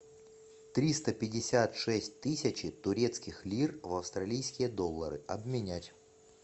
триста пятьдесят шесть тысячи турецких лир в австралийские доллары обменять